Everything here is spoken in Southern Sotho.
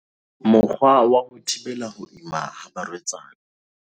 Mokgwa wa ho thibela ho ima ha barwetsana